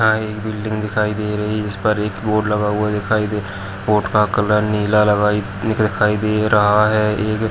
यहा एक बिल्डिंग दिखाई दे रही है जिसपर एक बोर्ड लगा हुआ दिखाई दे रहा है बोर्ड का कलर नीला लगाई दिखाई दे रहा है। ये जो --